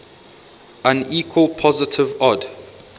unequal positive odd